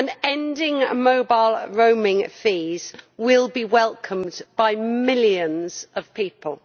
Ending mobile roaming fees will be welcomed by millions of people.